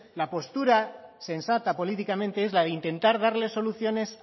la postura sensata políticamente es la de intentar darle soluciones